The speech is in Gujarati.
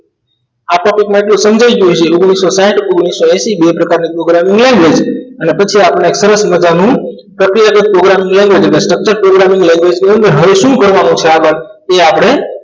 આ topic માં તમને સમજાઈ ગયું કે ઓગ્નીશો સાહિંઠ અને ઓગ્નીશો એંશી બે પ્રકારન programming language અને પછી આપણે સરસ મજાનું પ્રક્રિયા કારક programming language ના structure programming language નું હવે શું કરવું છે આ વાત ને આપણે